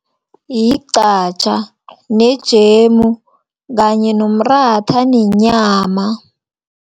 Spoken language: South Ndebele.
Yigqatjha, nejemu kanye nomratha, nenyama.